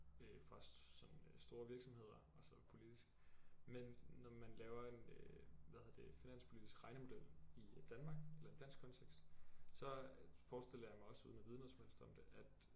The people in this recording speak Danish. Øh fra sådan store virksomheder altså politisk men når man laver en øh hvad hedder det finanspolitisk regnemodel i Danmark eller i dansk kontekst så forestiller jeg mig også uden at vide noget som helst om det at